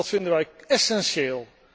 Dat vinden wij essentieel.